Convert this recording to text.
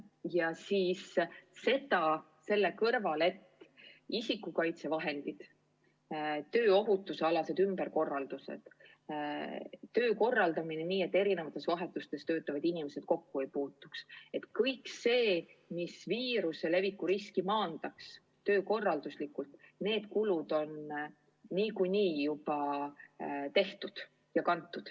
Ja lisaks isikukaitsevahendid, tööohutusalased ümberkorraldused, töö korraldamine nii, et eri vahetustes töötavad inimesed kokku ei puutuks – kõik kulud, et viiruse leviku risk oleks maandatud töökorralduslikult, on niikuinii juba tehtud.